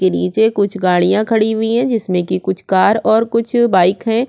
के निचे कुछ गाड़िया खड़ी हुई है जिसमे की कुछ कार कुछ बाइक है।